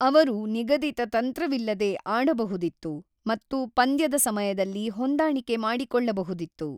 ಅವರು ನಿಗದಿತ ತಂತ್ರವಿಲ್ಲದೇ ಆಡಬಹುದಿತ್ತು ಮತ್ತು ಪಂದ್ಯದ ಸಮಯದಲ್ಲಿ ಹೊಂದಾಣಿಕೆ ಮಾಡಿಕೊಳ್ಳಬಹುದಿತ್ತು.